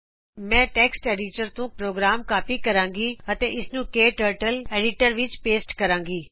ਮੈਂ text editor ਤੋਂ program copy ਕਰਾਗੀ ਅਤੇ ਇਸ ਨੂੰ ਕਟਰਟਲ ਐਡੀਟਰ ਵਿਚ ਪੇਸਟ ਕਰਾਗੀ